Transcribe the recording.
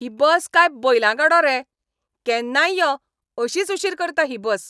ही bus काय बैलां गाडो रे? केन्नाय यो, अशीच उशीर करता ही बस.